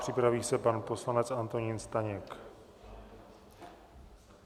Připraví se pan poslanec Antonín Staněk.